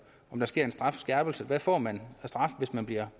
om der sker en strafskærpelse hvad får man af straf hvis man bliver